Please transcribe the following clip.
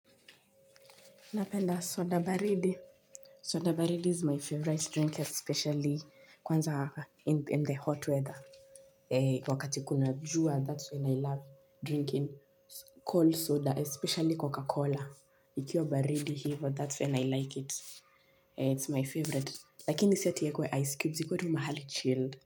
Napenda soda baridi soda baridi is my favorite drink especially kwanza waka in the hot weather wakati kuna jua that's when i love drinking cold soda especially coca-cola ikiwa baridi hii but that's when i like it it's my favorite lakini sieti yeko ye ice cubes yeko yeko mahali chilled.